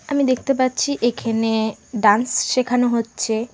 আমি দেখতে পাচ্ছি এখানে ডান্স শেখানো হচ্ছে।